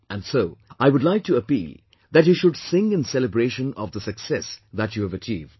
And so I would like to appeal that you should sing in celebration of the success that you have achieved